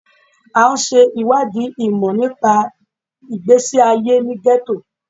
À ń ṣe ìwádìí ìmọ̀ nípa ìgbésí ayé ní gẹ́tò.